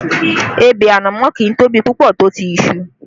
Ebè ànámọ́ kì í tóbi púpọ̀ tó ti iṣu